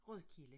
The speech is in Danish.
Rødkilde